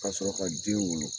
Ka sɔrɔ ka den wolo